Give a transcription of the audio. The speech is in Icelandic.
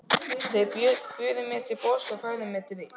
Þeir buðu mér til borðs og færðu mér drykk.